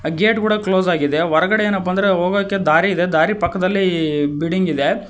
Gate ಕೂಡ close ಆಗಿದೆ ಹೊರಗಡೆ ಏನಪ್ಪಾ ಅಂದ್ರೆ ಹೋಗಕೆ ದಾರಿ ಇದೆ ದಾರಿ ಪಕ್ಕದಲ್ಲಿ ಬಿಲ್ಡಿಂಗ್ ಇದೆ.